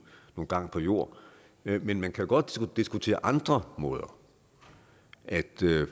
gang på jorden men man kan godt diskutere andre måder at